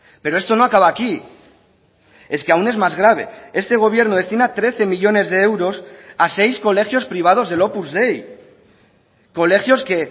pero esto no acaba aquí es que aún es más grave este gobierno destina trece millónes de euros a seis colegios privados del opus dei colegios que